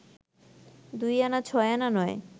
দুইআনা-ছয়আনা নয়